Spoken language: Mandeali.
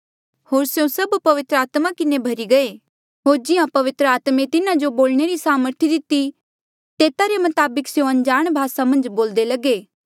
होर स्यों सभ पवित्र आत्मा किन्हें भर्ही गये होर जिहां पवित्र आत्मे तिन्हा जो बोलणे री सामर्थ दिती तेता रे मताबक स्यों अनजाण भासा मन्झ बोल्दे लगे